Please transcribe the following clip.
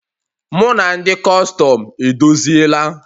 Mụ na ndị Kustum edozila